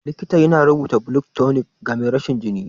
Likita yana rubuta blood tonic ga mai rashin jini.